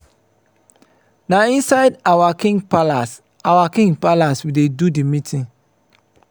na inside our king palace our king palace we dey do di meeting.